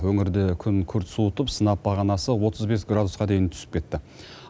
өңірде күн күрт суытып сынап бағанасы отыз бес градусқа дейін түсіп кетті